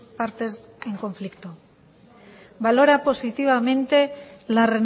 partes en conflicto valora positivamente la